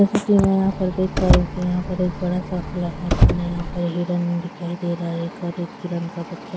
जैसा की मैं यहाँ पे देख पा रही हु यहाँ पे बड़ा-सा खुला मैदान है यहाँ पर हिरण दिखई दे रहा एक और एक हिरण का बच्चा--